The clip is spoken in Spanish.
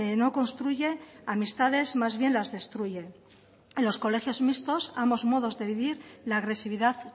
no construye amistades más bien las destruye en los colegios mixtos ambos modos de vivir la agresividad